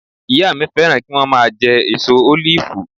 Ìyá mi fẹ́ràn kí wọ́n máa jẹ èso ólífù